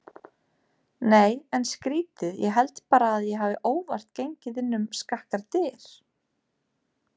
Nei en skrítið ég held bara að ég hafi óvart gengið inn um skakkar dyr.